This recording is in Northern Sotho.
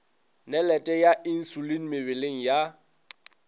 nalete ya insulin mebeleng ya